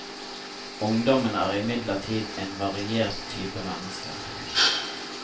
Ungdommen er imidlertid en variert type mennesker.